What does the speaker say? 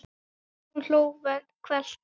Hugrún hló hvellt.